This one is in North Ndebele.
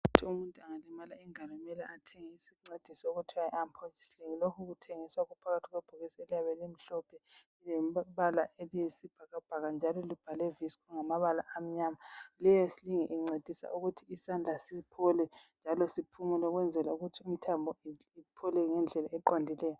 Umuntu angalimala ingalo kumele athenge isincediso okuthiwa yi arm positioning. Lokhu kuthengiswa kuphakathi kwebhokisi eliyabe limhlophe. Lilombala eliyisibhakabhaka, njalo liyabe libhalwe amabala athi, Vissco, ngamabala amnyama. Leyosling. incedisa ukuthi isandla siphole njalo siphumule. Ukwenzela ukuthi imithambo iphole ngendlela eqondileyo.